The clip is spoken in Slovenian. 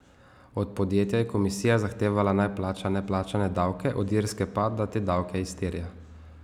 Od podjetja je komisija zahtevala, naj plača neplačane davke, od Irske pa, da te davke izterja.